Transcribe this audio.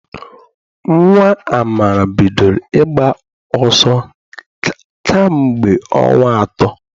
Nnwa Amara bidoro ịgba ọsọ kamgbe ọnwa atọ.